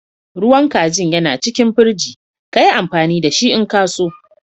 Ruwan kajin yana cikin firiji. Ka yi amfani da shi n'ka so.